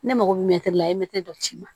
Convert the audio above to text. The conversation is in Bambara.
Ne mago bɛ la i ye dɔ d'i ma